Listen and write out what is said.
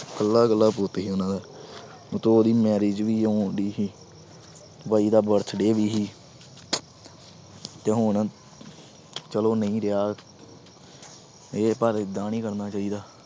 ਇਕੱਲਾ ਇਕੱਲਾ ਪੁੱਤ ਸੀ ਉਹਨਾਂ ਦਾ ਉੱਤੋਂ ਉਹਦੀ marriage ਵੀ ਆਉਂਦੀ ਸੀ ਬਾਈ ਦਾ birthday ਵੀ ਸੀ ਤੇ ਹੁਣ ਚਲੋ ਨਹੀਂ ਰਿਹਾ ਇਹ ਪਰ ਏਦਾਂ ਨੀ ਕਰਨਾ ਚਾਹੀਦਾ।